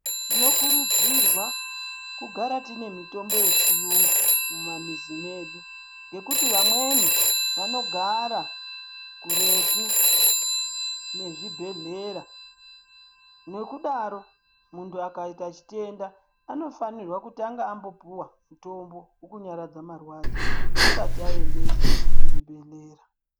Tinokurudzirwa kugara tine mitombo yechiyungu mumamizi mwedu ngekuti amweni anogara kuretu nezvibhehlera, nokudaro muntu akaita chitenda anofanira kutanga ambopihwa mutombo wekunyaradza marwadzo asati aendeswa ku chibhedhlera.